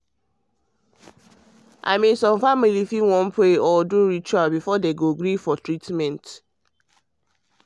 i mean some families fit wan pray or do pray or do ritual before dem gree for treatment.